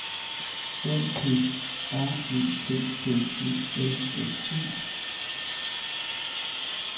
O P R E T T E L S E